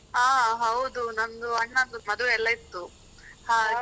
ಹ ಹೌದು ನಮ್ದು ಅಣ್ಣಂದು ಮದ್ವೆ ಎಲ್ಲಾ ಇತ್ತು ಹಾಗೇ. .